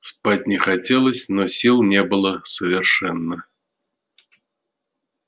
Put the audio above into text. спать не хотелось но сил не было совершенно